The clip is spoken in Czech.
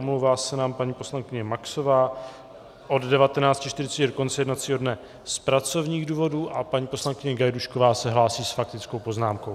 Omlouvá se nám paní poslankyně Maxová od 19.40 do konce jednacího dne z pracovních důvodů a paní poslankyně Gajdůšková se hlásí s faktickou poznámkou.